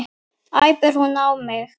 æpir hún á mig.